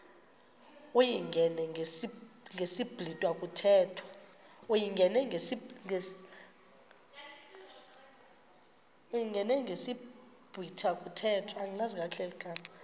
uyingene ngesiblwitha kuthethwa